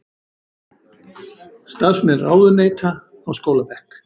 Starfsmenn ráðuneyta á skólabekk